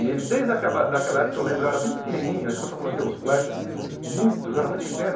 E ele, desde aquela daquela época, eu lembro, era bem pequenininho, é isso que eu estou te falando, tenho uns flashers, muito, eu era muito pequeno.